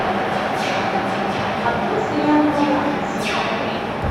открой сериал новобранец сезон три